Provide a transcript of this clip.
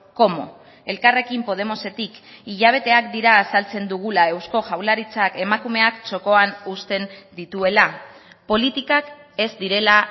cómo elkarrekin podemosetik hilabeteak dira azaltzen dugula eusko jaurlaritzak emakumeak txokoan uzten dituela politikak ez direla